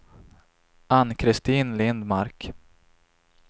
Ann-Kristin Lindmark